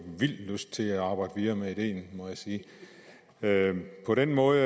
vild lyst til arbejde videre med ideen må jeg sige på den måde